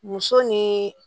Muso ni